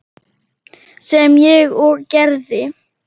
sem ég og gerði.